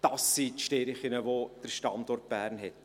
Das sind die Stärken, die der Standort Bern hat.